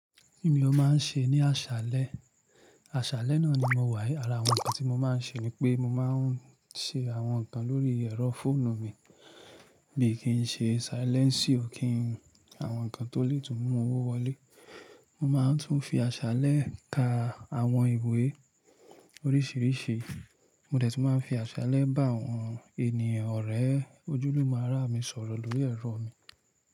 Kí ni o máa ń ṣe ní aṣálẹ́? Aṣálẹ́ náà ni mo wà, àrànkàn tí mo máa ń ṣe ni pé mo máa ń ṣe àwọn nǹkan lórí ẹ̀rọ fóònù mi bí i kí n ṣe silẹ́nsì o kí ń àwọn nǹkan tó lè tún mú owó wọlé. Mo máa ń tún fi aṣálẹ́ ka àwọn ìwé oríṣiríṣi. Mo dẹ̀ tún máa ń fi aṣálẹ́ bá àwọn ènìyàn ọ̀rẹ́ ojúlùmon ará mi sọ̀rọ̀ lórí ẹ̀rọ mi.